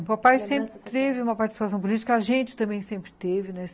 O papai sempre teve uma participação política, a gente também sempre teve.